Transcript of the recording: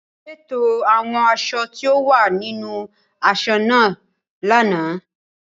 Ṣètò àwọn aṣọ tí ó wà nínú aṣọ náà lánàá.